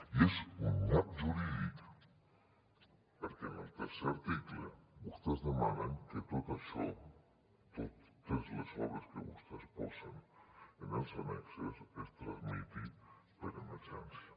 i és un nyap jurídic perquè en el tercer article vostès demanen que tot això totes les obres que vostès posen en els annexos es tramiti per emergència